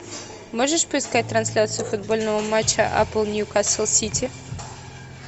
можешь поискать трансляцию футбольного матча апл ньюкасл сити